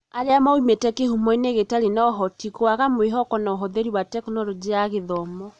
Arĩa moimĩte kĩhumoinĩ gĩtarĩ na ũhoti, gwaka mwĩhoko na ũhũthĩri wa Tekinoronjĩ ya Gĩthomo .